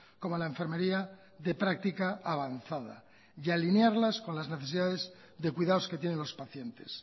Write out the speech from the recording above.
como la enfermería de práctica avanzada y alinearlas con las necesidades de cuidados que tienen los pacientes